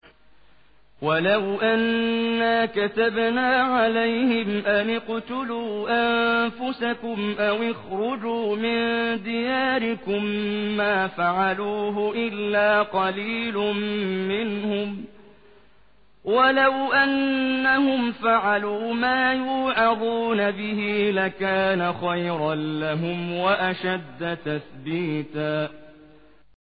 وَلَوْ أَنَّا كَتَبْنَا عَلَيْهِمْ أَنِ اقْتُلُوا أَنفُسَكُمْ أَوِ اخْرُجُوا مِن دِيَارِكُم مَّا فَعَلُوهُ إِلَّا قَلِيلٌ مِّنْهُمْ ۖ وَلَوْ أَنَّهُمْ فَعَلُوا مَا يُوعَظُونَ بِهِ لَكَانَ خَيْرًا لَّهُمْ وَأَشَدَّ تَثْبِيتًا